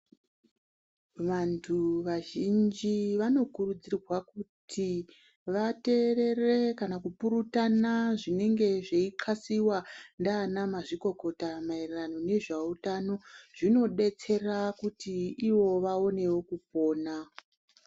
Vantu vazhinji vanokurudzirwa kuti vateerere kana kupurutana zvinenge zveithasiwa ndiana mazvikokota maererano nezveutano zvinodetsera kuti ivo vaonewo kupona.